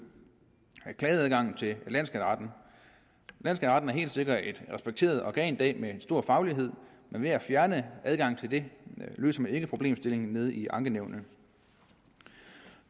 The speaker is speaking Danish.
klageadgangen til landsskatteretten er helt sikkert et respekteret organ i dag med en stor faglighed men ved at fjerne adgangen til den løser man ikke problemstillingen nede i ankenævnene